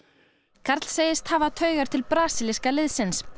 karl segist hafa taugar til brasilíska liðsins